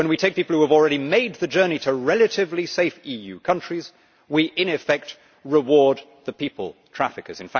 When we take people who have already made the journey to relatively safe EU countries, we in effect reward the people traffickers.